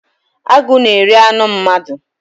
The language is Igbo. Agụ na-eri anụ mmadụ.